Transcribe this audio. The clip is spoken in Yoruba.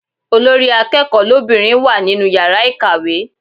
Olórí akẹ́kọ̀ọ́ lóbìnrin wà nínú yàrá ìkàwé.